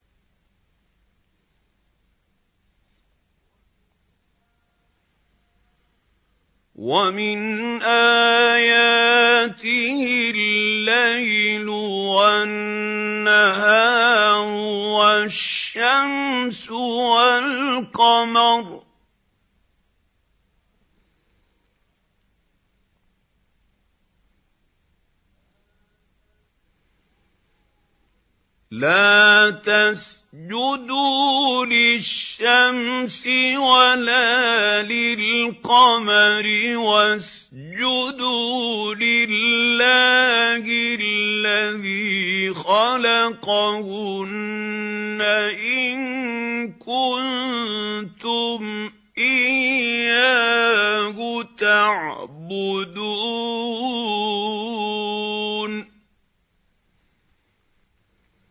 وَمِنْ آيَاتِهِ اللَّيْلُ وَالنَّهَارُ وَالشَّمْسُ وَالْقَمَرُ ۚ لَا تَسْجُدُوا لِلشَّمْسِ وَلَا لِلْقَمَرِ وَاسْجُدُوا لِلَّهِ الَّذِي خَلَقَهُنَّ إِن كُنتُمْ إِيَّاهُ تَعْبُدُونَ